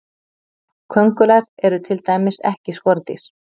köngulær eru til dæmis ekki skordýr